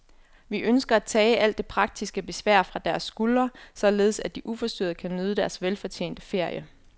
Vi ønsker at tage alt det praktiske besvær fra deres skuldre, således at de uforstyrret kan nyde deres velfortjente ferie.